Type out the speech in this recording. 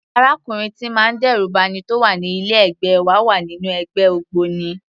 Arákùnrin tíì ń má dẹ́rù ba'ni tó wà ní ilé ẹ̀gbẹ́ wa wà nínú ẹgbẹ́ ògbóni.